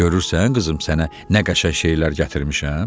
Görürsən, qızım, sənə nə qəşəng şeylər gətirmişəm?